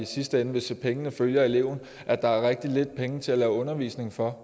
sidste ende hvis pengene følger eleven at der er rigtig lidt penge til at lave undervisning for